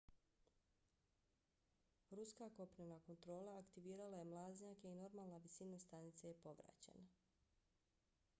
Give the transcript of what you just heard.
ruska kopnena kontrola aktivirala je mlaznjake i normalna visina stanice je povraćena